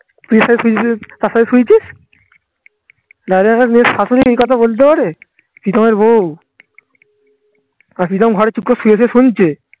নাহলে একটা মেয়ের শাশুড়ি এই কথা বলতে পারে প্রিতমের বউ আর প্রীতম ঘরে চুপ করে শুয়ে থেয়ে শুনছে